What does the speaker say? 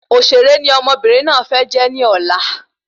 Òṣèré ni ọmọbìnrin náà fẹ́ jẹ́ ní ọ̀la